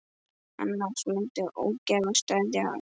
Annars myndi ógæfa steðja að.